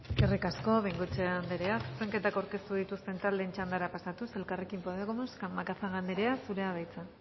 eskerrik asko bengoechea anderea zuzenketak aurkeztu dituzten taldeen txandara pasatuz elkarrekin podemos macazaga anderea zurea da hitza